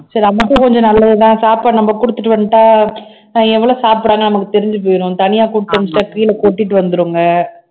சரி கொஞ்சம் நல்லதுதான் சாப்பாடு நம்ம கொடுத்துட்டு வந்துட்டால் ஆஹ் எவ்வளவு சாப்பிடுறாங்கன்னு நமக்கு தெரிஞ்சு போயிடும் தனியா கொடுத்து அனுப்பிசிட்டா கீழே கொட்டிட்டு வந்திருங்க